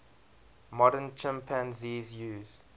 modern chimpanzees use